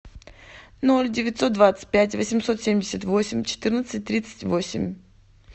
ноль девятьсот двадцать пять восемьсот семьдесят восемь четырнадцать тридцать восемь